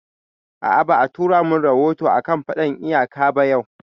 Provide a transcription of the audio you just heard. A'a, ba a tura mun rahoto a kan faɗan iyaka ba yau